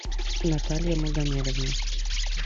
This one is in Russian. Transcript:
наталья магомедовна